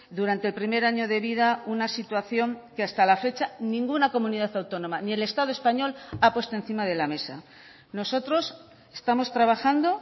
durante el primer año de vida una situación que hasta la fecha ninguna comunidad autónoma ni el estado español ha puesto encima de la mesa nosotros estamos trabajando